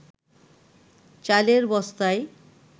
চালের বস্তায়